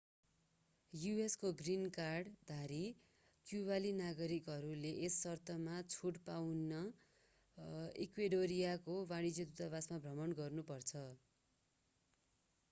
यूएसको green कार्डधारी क्युवाली नागरिकहरूले यस शर्तमा छुट पाउन इक्वेडरियाको वाणिज्य दूतावास भ्रमण गर्नु पर्छ